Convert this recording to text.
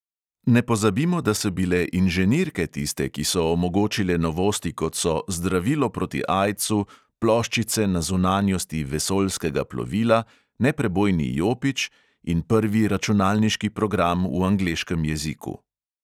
Ne pozabimo, da so bile inženirke tiste, ki so omogočile novosti, kot so zdravilo proti aidsu, ploščice na zunanjosti vesoljskega plovila, neprebojni jopič in prvi računalniški program v angleškem jeziku.